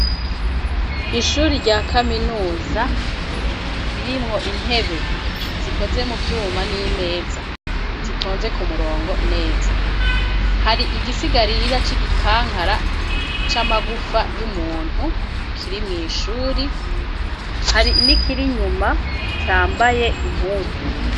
Ishuri rya kaminuza ririmwo intebe zikoze muvyuma n'imeza zitonze kumurongo neza , hari igisigarira c'igikankara c'amagufa y'umuntu kiri mw'ishuri hari n'ikir'inyuma cambaye impuzu.